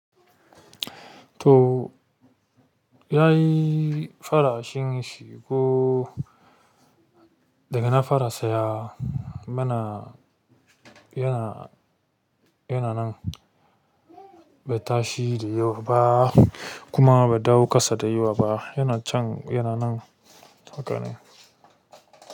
To, ya yi farashin shi ko daga na fara saya mana yana nan bai ta shi da yawa ba kuma ba ɗau kasa da yawa ba, yana can yana nan haka ne.